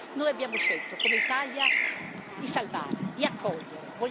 Noi abbiamo scelto, come Italia, di salvare, di accogliere.